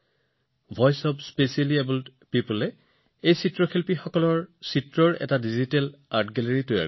বিশেষভাৱে সক্ষম লোকসকলৰ কণ্ঠই এই শিল্পীসকলৰ চিত্ৰকলাৰ এটা ডিজিটেল কলা বিথীকা প্ৰস্তুত কৰিছে